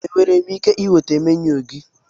Enwere m ike ịnweta menu gị?